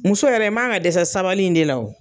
Muso yɛrɛ i man ka dɛsɛ sabali in de la o.